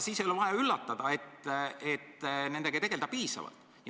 Siis ei ole vaja ka üllatuda, et nendega ei tegelda piisavalt.